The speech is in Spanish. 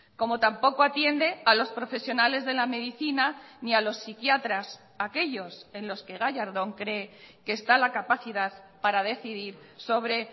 como tampoco atiende a los profesionales de la medicina ni a los psiquiatras aquellos en los que gallardón cree que está la capacidad para decidir sobre